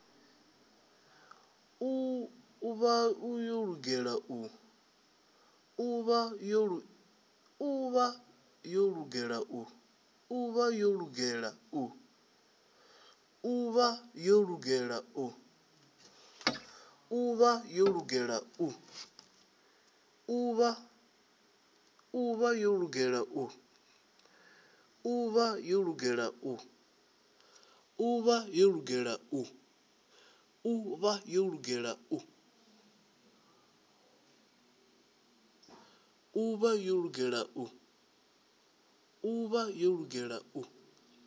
u vha yo lugela u